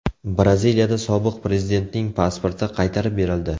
Braziliyada sobiq prezidentning pasporti qaytarib berildi.